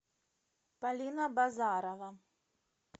полина базарова